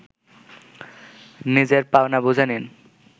নিজের পাওনা বুঝে নিন